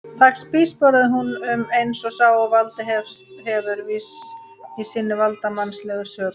Þar spígsporaði hún um eins og sá sem valdið hefur, viss í sinni valdsmannslegu sök.